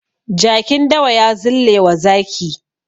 Jakin dawa ya zillewa zaki.